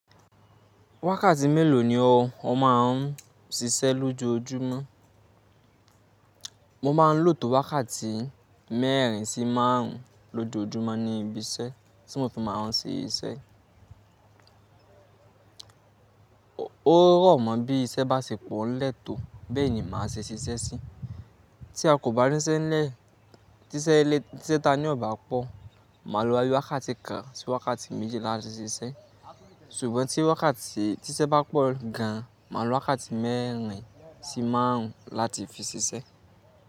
Wákàtí mélòó ni ọ̀ má ń sisẹ́ lójoójúmọ́? Mo ma ń lò tó wákàtí mẹ́rin sí márùn ún lójoójúmọ́ ní ibi iṣẹ́ tí mo fi má a ń sisẹ́. Ó rọ̀mọ́ bí iṣẹ́ bá ṣe pọ̀ n lẹ́tòó bẹ́ẹ̀ ni màá ṣe ṣiṣẹ́ sí. Tí a kò bá níṣẹ́ n lẹ́, tíṣẹ́ ta ní ọ̀ bá pọ̀, màá lo boya bi wákàtí kan sí wákàtí méjì láti ṣiṣẹ́. Ṣùgbọ́n tí iṣẹ́ bá pọ̀ gan, màá lo wákàtí mẹ́rin sí márùn ún láti fi ṣiṣẹ́.